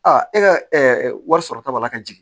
e ka wari sɔrɔ ta b'a la ka jigin